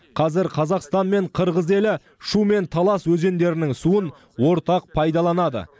қазір қазақстан мен қырғыз елі шу мен талас өзендерінің суын ортақ пайдаланады